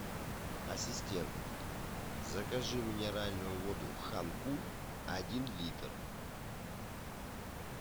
ассистент закажи минеральную воду ханкуль один литр